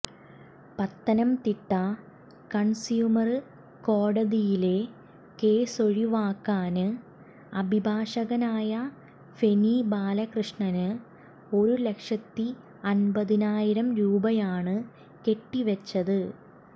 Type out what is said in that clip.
Pathanamthitta consumer കോടതിയിലെ കേസൊഴിവാകാന് അഭിഭാഷകനായ ഫെനി ബാലകൃഷ്ണന് ഒരു ലക്ഷത്തി എന്പതിനായിരം രൂപയാണ് കെട്ടിവച്ചത്